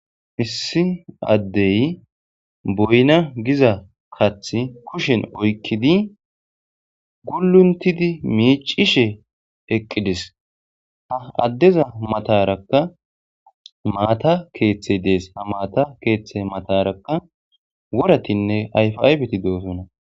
Issi addey boyna giza kath kushen oykkidi guluntidi miicishe eqqidis ha addeza matarakka maata keethe dees ha maata keeththe matarakka woratinne ayfaybeti do'osona